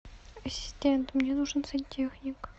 ассистент мне нужен сантехник